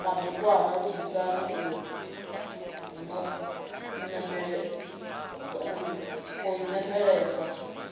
madekwana lugisani u ḓo inembeledza